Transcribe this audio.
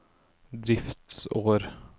driftsår